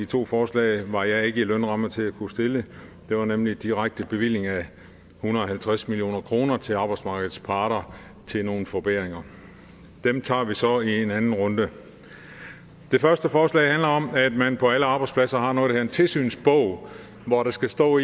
to af forslagene var jeg ikke i en lønramme til at kunne stille det var nemlig en direkte bevilling af en hundrede og halvtreds million kroner til arbejdsmarkedets parter til nogle forbedringer dem tager vi så i en anden runde det første forslag handler om at man på alle arbejdspladser har noget der hedder en tilsynsbog hvor der skal stå